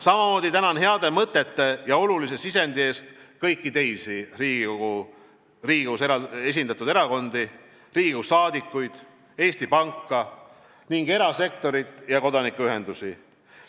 Samamoodi tänan heade mõtete ja olulise sisendi eest kõiki teisi Riigikogus esindatud erakondi, Riigikogu liikmeid, Eesti Panka ning erasektorit ja kodanikuühendusi.